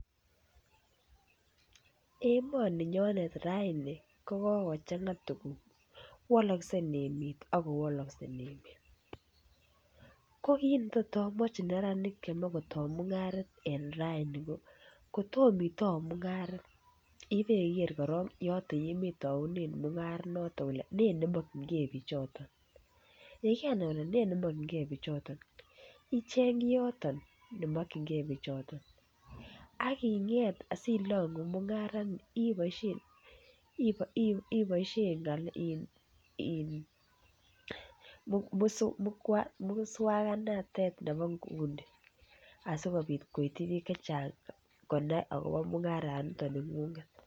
Emoninyonet raini kokochang'a tuguk wolokse emet ako wolokse emet ko kit netot amwochi neranik chemoe kotoo mung'aret en rani ko kotomo itou mung'aret ibeker korong yoton yemoe itounen mung'aret noton ile nee nemokyingee bichoton, yekenai ile nee nemokyingee bichoton icheng kioton nemokyingee bichoton ak ing'et asilong'u mung'arani iboisien muswangnatet nebo nguni asikobit koityi biik chechang konai akobo mungaraniton ning'ung'et